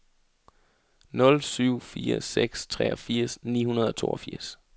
nul syv fire seks treogfirs ni hundrede og toogfirs